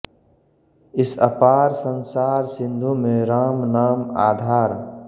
इस अपार संसार सिन्धु में राम नाम आधार